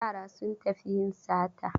Yara sun tafi yin sata.